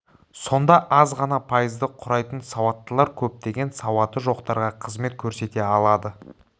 сонда аз ғана пайызды құрайтын сауаттылар көптеген сауаты жоқтарға қызмет көрсете алады